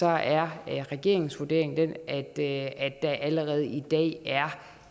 er regeringens vurdering den at der allerede i dag er